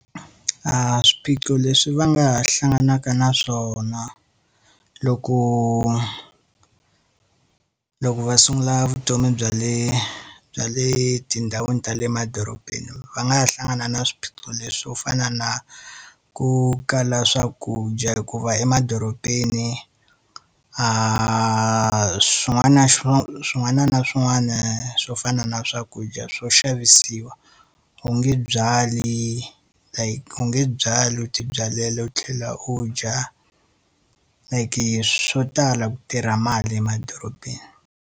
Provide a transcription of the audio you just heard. Swiphiqo leswi va nga ha hlanganaka na swona loko loko va sungula vutomi bya le bya le tindhawini ta le emadorobeni va nga ha hlangana na swiphiqo leswi swo fana na ku kala swakudya hikuva emadorobeni, swin'wana na swin'wana swo fana na swakudya swo xavisiwa. U nge byali u nge byali u ti byalela u tlhela u dya, like swo tala ku tirha mali emadorobeni.